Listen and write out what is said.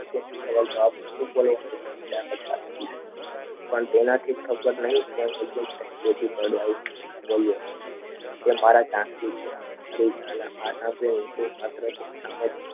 પણ તેનાથી ખબર નહીં કે નીચે કઈ થી કઢાવ્યું તે બોલ્યો